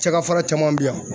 Cɛkafara caman bɛ yan.